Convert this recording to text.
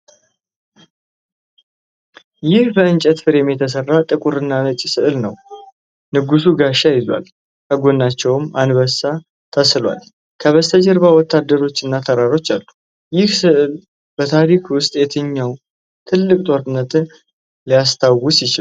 ይህ በእንጨት ፍሬም የተሠራ ጥቁር እና ነጭ ሥዕል ነው። ንጉሡ ጋሻ ይዘዋል፤ ከጎናቸውም አንበሳ ተስሏል። ከበስተጀርባ ወታደሮች እና ተራሮች አሉ። ይህ ሥዕል በታሪክ ውስጥ የትኛውን ትልቅ ጦርነት ሊያስታውስ ይችላል?